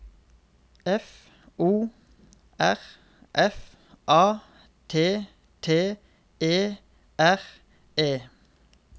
F O R F A T T E R E